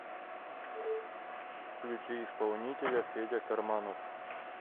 включи исполнителя федя карманов